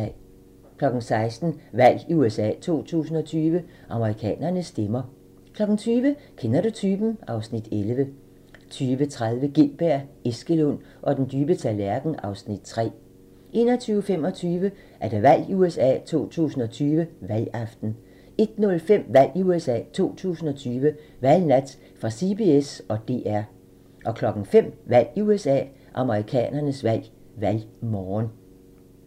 16:00: Valg i USA 2020: Amerikanerne stemmer 20:00: Kender du typen? (Afs. 11) 20:30: Gintberg, Eskelund og den dybe tallerken (Afs. 3) 21:25: Valg i USA 2020: Valgaften 01:05: Valg i USA 2020: Valgnat fra CBS og DR 05:00: Valg i USA 2020: Amerikanernes valg - valgmorgen